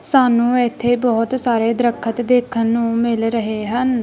ਸਾਨੂੰ ਇਥੇ ਬਹੁਤ ਸਾਰੇ ਦਰੱਖਤ ਦੇਖਣ ਨੂੰ ਮਿਲ ਰਹੇ ਹਨ।